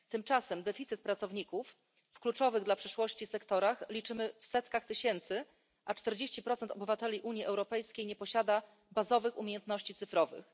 Tymczasem deficyt pracowników w kluczowych dla przyszłości sektorach liczymy w setkach tysięcy, a 40 obywateli Unii Europejskiej nie posiada podstawowych umiejętności cyfrowych.